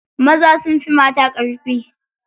Maza sun fi mata ƙarfi.